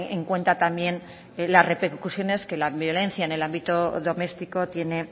en cuenta también las repercusiones que la violencia en el ámbito doméstico tiene